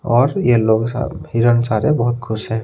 और येलो सा हिरन सारे बहोत खुश हैं।